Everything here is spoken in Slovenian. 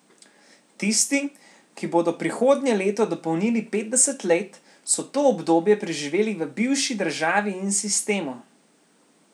Tisti, ki bodo prihodnje leto dopolnili petdeset let, so to obdobje preživeli v bivši državi in sistemu.